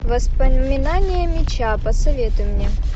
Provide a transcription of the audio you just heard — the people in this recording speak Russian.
воспоминания меча посоветуй мне